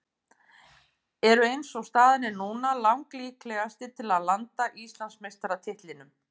Eru eins og staðan er núna lang líklegastir til að landa Íslandsmeistaratitlinum.